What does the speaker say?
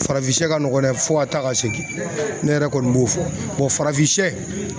Farafinsɛ ka nɔgɔn n'a ye fo ka taa ka segin ne yɛrɛ kɔni b'o fɔ farafinsɛ